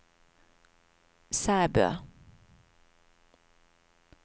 Sæbø